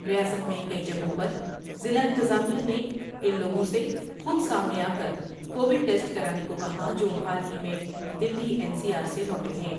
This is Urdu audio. ریاست میں کئی جگہوں پر ضلع انتظامیہ نے ان لوگوں سے خود سامنے آ کر کووڈ ٹیسٹ کرانے کو کہا ہے جو حال ہی میں دلی این سی آر سے لوٹے ہیں ۔